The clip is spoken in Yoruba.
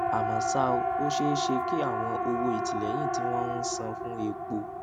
àmó ṣá o ó ṣeé ṣe kí àwọn owó ìtìléyìn tí wón ń san fún epo